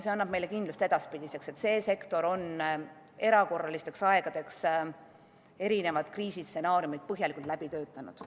See annab meile kindlust edaspidiseks, et see sektor on erakorralisteks aegadeks erinevad kriisistsenaariumid põhjalikult läbi töötanud.